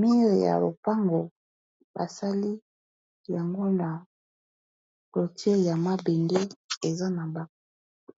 Mir ya lopango basali yango na cloture ya mabende eza na ba